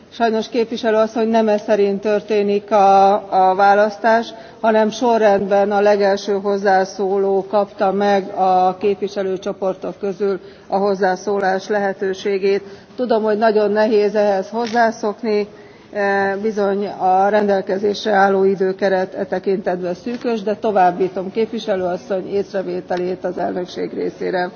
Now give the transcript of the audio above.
Sajnos, Képviselő Asszony, nem eszerint történik a választás, hanem sorrendben a legelső hozzászóló kapta meg a képviselőcsoportok közül a hozzászólás lehetőségét. Tudom, hogy nagyon nehéz ehhez hozzászokni, bizony a rendelkezésre álló időkeret e tekintetben szűkös, de továbbítom Képviselő Asszony észrevételét az Elnökség részére.